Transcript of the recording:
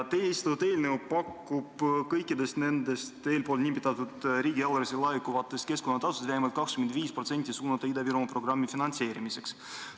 Teie esitatud eelnõu pakub, et kõikidest nendest eelnimetatud riigieelarvesse laekuvatest keskkonnatasudest tuleks vähemalt 25% suunata Ida-Virumaa programmi finantseerimiseks.